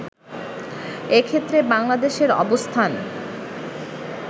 এক্ষেত্রে বাংলাদেশের অবস্থান